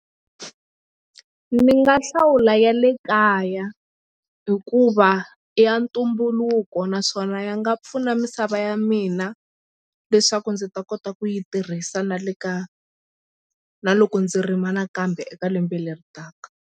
Ni nga hlawula ya le kaya hikuva i ya ntumbuluko naswona ya nga pfuna misava ya mina leswaku ndzi ta kota ku yi tirhisa na le ka na loko ndzi rima nakambe eka lembe leri taka.